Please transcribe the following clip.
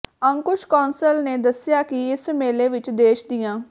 ਅੰਕੁਸ਼ ਕਾਂਸਲ ਨੇ ਦੱਸਿਆਂ ਕਿ ਇਸ ਮੇਲੇ ਵਿੱਚ ਦੇਸ਼ ਦੀਆਂ